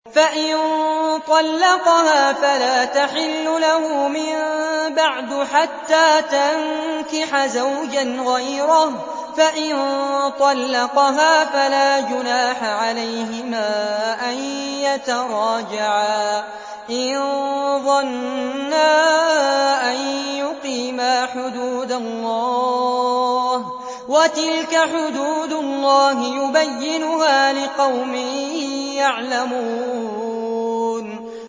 فَإِن طَلَّقَهَا فَلَا تَحِلُّ لَهُ مِن بَعْدُ حَتَّىٰ تَنكِحَ زَوْجًا غَيْرَهُ ۗ فَإِن طَلَّقَهَا فَلَا جُنَاحَ عَلَيْهِمَا أَن يَتَرَاجَعَا إِن ظَنَّا أَن يُقِيمَا حُدُودَ اللَّهِ ۗ وَتِلْكَ حُدُودُ اللَّهِ يُبَيِّنُهَا لِقَوْمٍ يَعْلَمُونَ